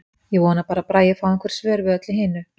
Ég vona bara að Bragi fái einhver svör við öllu hinu.